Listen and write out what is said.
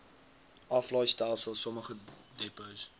aflaaistelsel sommige depots